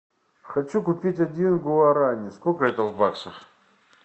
хочу купить один гуарани сколько это в баксах